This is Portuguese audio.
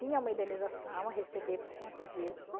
Tinha uma indenização a receber por conta disso.